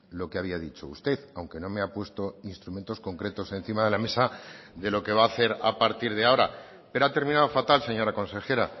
lo que había dicho usted aunque no me ha puesto instrumentos concretos encima de la mesa de lo que va a hacer a partir de ahora pero ha terminado fatal señora consejera